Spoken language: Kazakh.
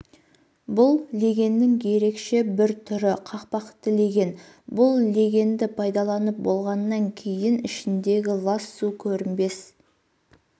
бұл легеннің ерекше бір түрі қақпақты леген бұл легенді пайдаланып болғаннан кейін ішіндегі лас су көрінбес